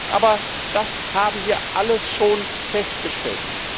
Aber das haben wir alles schon festgestellt.